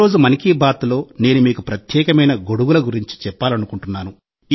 ఈరోజు 'మన్ కీ బాత్'లో నేను మీకు ప్రత్యేకమైన గొడుగుల గురించి చెప్పాలనుకుంటున్నాను